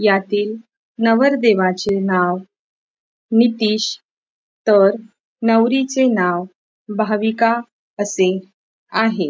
यातील नवरदेवाचे नाव नितिश तर नवरीचे नाव भाविका असे आहे.